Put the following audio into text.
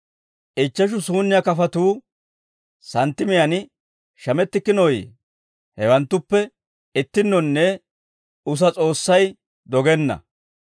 «Ichcheshu suunniyaa kafatuu santtimiyaan shamettikkinooyye? Hewanttuppe ittinnonne usa S'oossay dogenna.